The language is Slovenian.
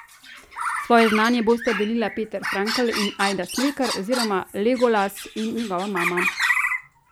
Svoje znanje bosta delila Peter Frankl in Ajda Smrekar oziroma Legolas in njegova mama!